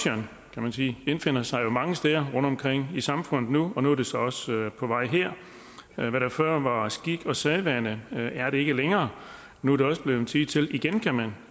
kan man sige indfinder sig jo mange steder rundtomkring i samfundet og nu er det så også på vej her det der før var skik og sædvane er det ikke længere nu er det blevet tid til igen kan man